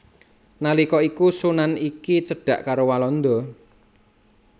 Nalika iku sunan iki cedhak karo Walanda